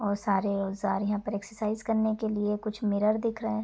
और सारे औजार यहाँ पर एक्सरसाइज करने के लिए कुछ मिरर दिख रहे --